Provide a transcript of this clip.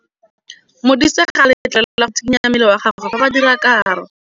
Modise ga a letlelelwa go tshikinya mmele wa gagwe fa ba dira karô.